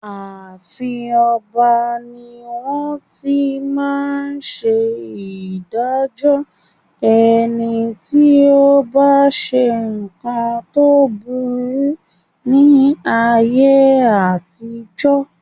Ààfin ọba ní wón ti máa ń ṣe ìdájọ́ ẹni tí ó bá ṣe nǹkan tó burú ní ayé àtijó.